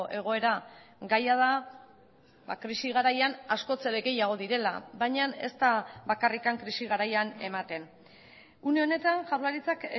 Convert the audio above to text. egoera gaia da krisi garaian askoz ere gehiago direla baina ez da bakarrik krisi garaian ematen une honetan jaurlaritzak